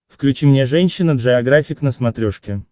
включи мне женщина джеографик на смотрешке